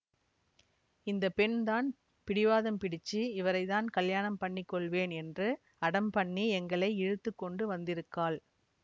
இந்த பெண் தான் பிடிவாதம் பிடிச்சு இவரை தான் கல்யாணம் பண்ணி கொள்வேன் என்று அடம் பண்ணி எங்களை இழுத்து கொண்டு வந்திருக்காள்